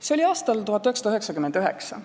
See oli aastal 1999.